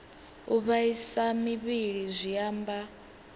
u vhaisa muvhili zwi amba